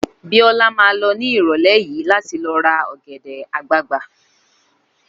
Bíọ́lá ma lọ ní ìrọ̀lẹ́ yìí láti ló ra ọ̀gẹ̀dẹ̀ àgbagbà